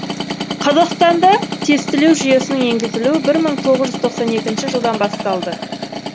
қазақстанда тестілеу жүйесінің енгізілуі бір мың тоғыз жүз тоқсан екінші жылдан басталды